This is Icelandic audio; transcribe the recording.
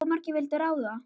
Of margir vildu ráða.